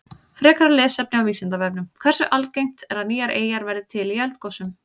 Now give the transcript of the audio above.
Frekara lesefni á Vísindavefnum: Hversu algengt er að nýjar eyjar verði til í eldgosum?